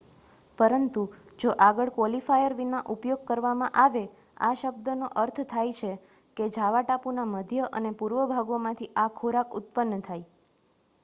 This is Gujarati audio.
પરંતુ જો આગળ ક્વોલિફાયર વિના ઉપયોગ કરવામાં આવે, આ શબ્દનો અર્થ થાય છે કે જાવા ટાપુના મધ્ય અને પૂર્વભાગોમાંથી આ ખોરાક ઉત્પન્ન થાય